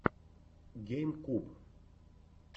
гейм куб